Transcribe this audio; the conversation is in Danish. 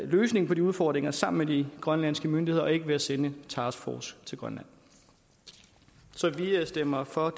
løsningen på de udfordringer sammen med de grønlandske myndigheder og ikke ved at sende en taskforce til grønland så vi vi stemmer for